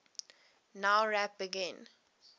nowrap begin